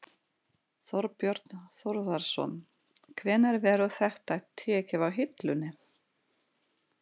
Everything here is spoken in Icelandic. Þorbjörn Þórðarson: Hvenær verður þetta tekið af hillunni?